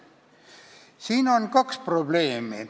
Siin on kaks probleemi.